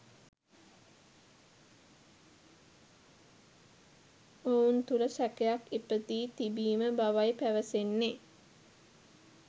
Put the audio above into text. ඔවුන් තුළ සැකයක් ඉපදී තිබීම බවයි පැවසෙන්නේ